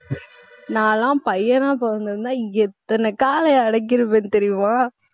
நான் எல்லாம் பையனா பொறந்திருந்தா எத்தன காளையை அடக்கியிருப்பேன் தெரியுமா